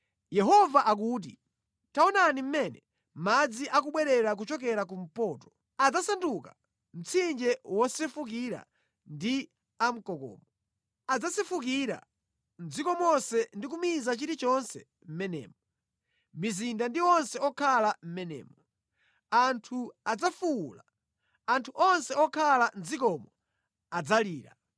Yehova akuti, “Taonani mmene madzi akubwerera kuchokera kumpoto; adzasanduka mtsinje wosefukira ndi a mkokomo. Adzasefukira mʼdziko monse ndi kumiza chilichonse mʼmenemo, mizinda ndi onse okhala mʼmenemo. Anthu adzafuwula; anthu onse okhala mʼdzikomo adzalira